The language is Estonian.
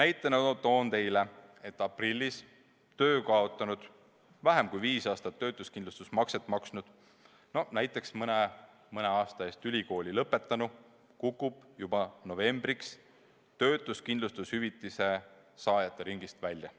Toon näiteks, et aprillis töö kaotanud ja vähem kui viis aastat töötuskindlustusmakset maksnud, no näiteks mõne aasta eest ülikooli lõpetanud noor inimene kukub juba novembriks töötuskindlustushüvitise saajate ringist välja.